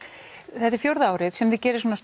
þetta er fjórða árið sem þið gerið svona